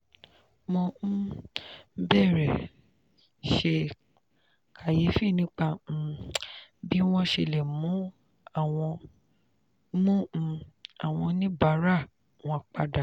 mo um bẹ̀rẹ̀ ṣe kàyéfì nípa um bí wọ́n ṣe lè mú um àwọn oníbàárà wọn padà.